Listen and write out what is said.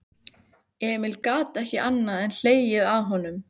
Emil gat ekki annað en hlegið að honum.